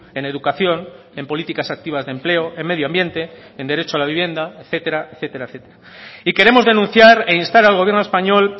en educación en políticas activas de empleo en medio ambiente en derecho a la vivienda etcétera etcétera etcétera y queremos denunciar e instar al gobierno español